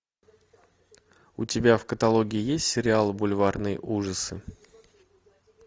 у тебя в каталоге есть сериал бульварные ужасы